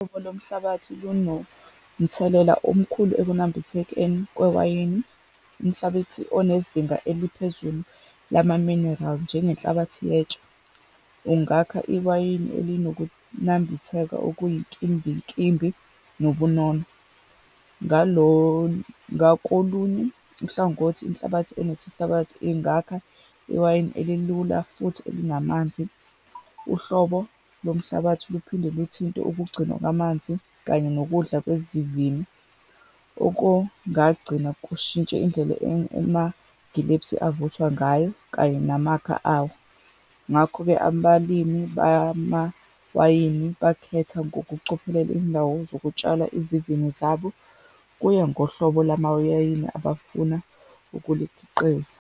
Uhlobo lomhlabathi lunomthelela omkhulu ekunambithekeni kwewayini. Umhlabathi onezinga eliphezulu lamaminerali, njengenhlabathi yetshe, ungakha iwayini elinokunambitheka okuyinkimbinkimbi, nobunono. Ngalo, ngakolunye uhlangothi, inhlabathi enesehlabathi ingakha iwayini elilula futhi elinamanzi. Uhlobo lomhlabathi luphinde luthinte ukugcinwa kwamanzi, kanye nokudla kwezivini, okongagcina kushintshe indlela amagilebhisi avuthwa ngayo, kanye namakha awo. Ngakho-ke abalimi bamawayini bakhetha ngokucophelela indawo zokutshala izivini zabo. Kuya ngohlobo lamawayini abafuna ukulikhiqiza.